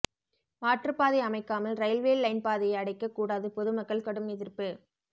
மாற்றுப்பாதை அமைக்காமல் railway line பாதையை அடைக்க கூடாது பொதுமக்கள் கடும் எதிர்ப்பு